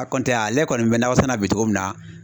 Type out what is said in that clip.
A ale kɔni bɛ nakɔ sɛnɛna bi cogo min na